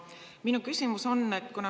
Aga minu küsimus on see.